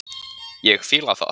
Ég fíla það.